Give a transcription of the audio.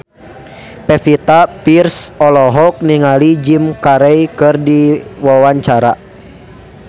Pevita Pearce olohok ningali Jim Carey keur diwawancara